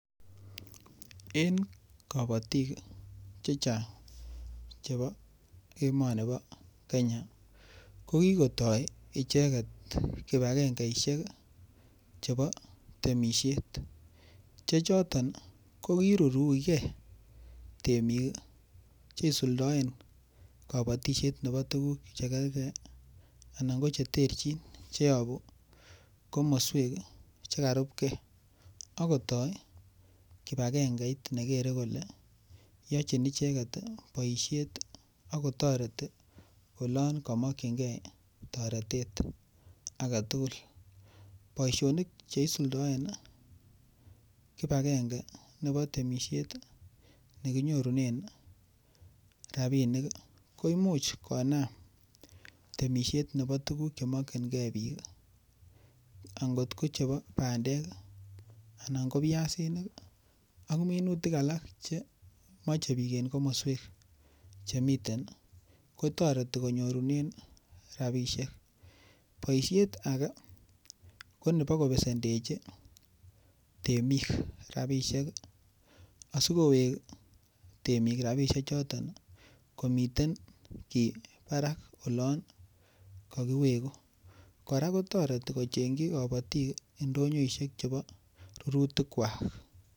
En kabotik chechang' chebo emoni bo Kenya ko kiketoi icheget kipagengeishek chebo temishet che choton kokiruruikei temik cheisuldoen kabatishet nebo tukuk chekergei anan ko cheterjin cheibu komoswek chekarupkei akotoi kibagengeit nekerei kole yochini icheget boishet ako toreti olon kamokchingei toretet age tugul boishonik cheisuldoen kipagenge nebo temishet nekinyorunen rabinik ko imuuch konam temishet nebo tukuk chemokchingei biik angot ko chebo bandek anan ko piasinik ak minutik alak che mochei biik en komoswek chemiten kotoreti konyorunen rabishek boishet age ko nebo kobesendechi temik rabishek asikowek temik rabishe choton komiten kii barak olon kakiweku kora kotoreti kochenjin kabotik ndonyoishek chebo rurutik kwak